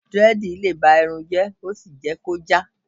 dread le ba Irun je ki o sí je ki o ja